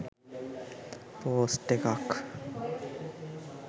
post එකක්